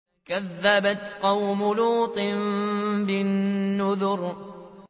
كَذَّبَتْ قَوْمُ لُوطٍ بِالنُّذُرِ